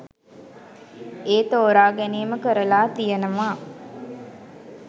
ඒ තෝරා ගැනීම කරලා තියෙනවා.